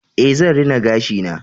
Ae, zan rina gashi na